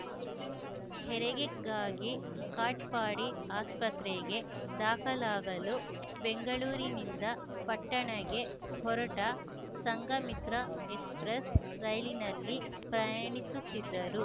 ಹೆರಿಗೆಗಾಗಿ ಕಾಟ್‌ಪಾಡಿ ಆಸ್ಪತ್ರೆಗೆ ದಾಖಲಾಗಲು ಬೆಂಗಳೂರಿನಿಂದ ಪಟನಾಗೆ ಹೊರಟ ಸಂಘಮಿತ್ರ ಎಕ್ಸ್‌ಪ್ರೆಸ್‌ ರೈಲಿನಲ್ಲಿ ಪ್ರಯಾಣಿಸುತ್ತಿದ್ದರು